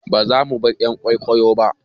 Ba zamu bar "yan kwikwiyon ba